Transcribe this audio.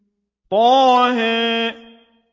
طه